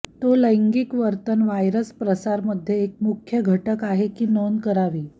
तो लैंगिक वर्तन व्हायरस प्रसार मध्ये एक मुख्य घटक आहे की नोंद करावी